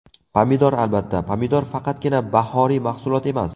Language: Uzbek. Pomidor Albatta, pomidor faqatgina bahoriy mahsulot emas.